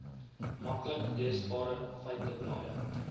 maklik leesbare feiteblaaie